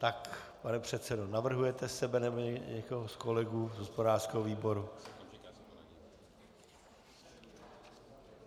Tak pane předsedo, navrhujete sebe, nebo někoho z kolegů z hospodářského výboru?